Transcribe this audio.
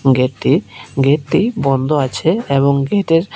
গেটটি গেটটি বন্ধ আছে এবং গেটের--